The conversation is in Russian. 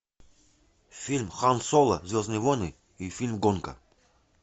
фильм хан соло звездные войны и фильм гонка